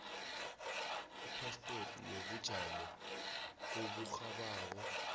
iphaspoti yobujamo oburhabako